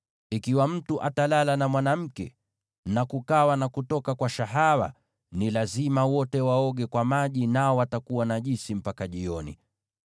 Ikiwa mtu atalala na mwanamke, na kukawa na kutoka kwa shahawa, ni lazima wote waoge kwa maji, nao watakuwa najisi mpaka jioni.